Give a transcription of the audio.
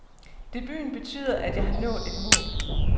Debuten betyder, at jeg har nået et mål.